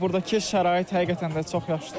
Və burdakı şərait həqiqətən də çox yaxşıdır.